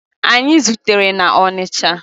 Anyị zutere na Onicha.